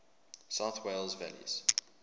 south wales valleys